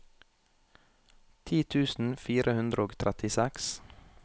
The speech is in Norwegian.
ti tusen fire hundre og trettiseks